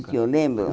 O que eu lembro?